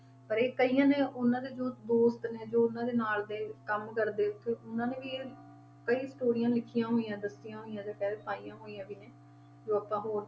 ਪਰ ਇਹ ਕਈਆਂ ਨੇ ਉਹਨਾਂ ਦੇ ਜੋ ਦੋਸਤ ਨੇ ਜੋ ਉਹਨਾਂ ਦੇ ਨਾਲ ਦੇ ਕੰਮ ਕਰਦੇ ਉੱਥੇ ਉਹਨਾਂ ਨੇ ਵੀ ਇਹ ਕਈ ਸਟੋਰੀਆਂ ਲਿਖੀਆਂ ਹੋਈਆਂ, ਦੱਸੀਆਂ ਹੋਈਆਂ ਜਾਂ ਕਹਿ ਪਾਈਆਂ ਹੋਈਆਂ ਵੀ ਨੇ ਜੋ ਆਪਾਂ ਹੋਰ,